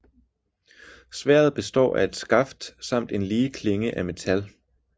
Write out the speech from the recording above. Sværdet består af et skaft samt en lige klinge af metal